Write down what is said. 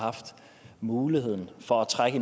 haft mulighed for at trække